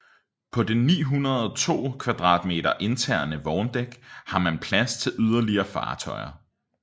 På det 902 m² interne vogndæk har man plads til yderligere fartøjer